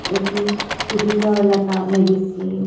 এটি খুঁটিতেও লেখা মেডিসিন ।